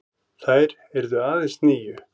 Þær yrðu aðeins níu.